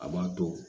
A b'a to